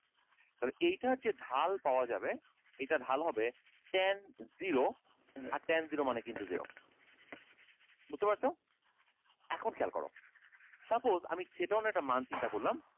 তাহলে এটার যে ঢাল পাওয়া যাবে এটা ঢাল হবে ten zero আর ten zero মানে কিন্তু zero বুঝতে পারছো এখন খেয়াল করো suppose আমি একটা মান চিন্তা করলাম